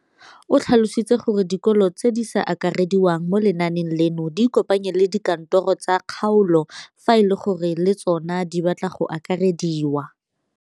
O tlhalositse gore dikolo tse di sa akarediwang mo lenaaneng leno di ikopanye le dikantoro tsa kgaolo fa e le gore le tsona di batla go akarediwa.